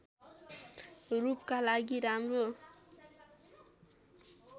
रूपका लागि राम्रो